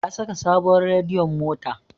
Ya saka sabuwar radiyon mota